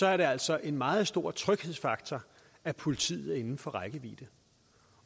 er det altså en meget stor tryghedsfaktor at politiet er inden for rækkevidde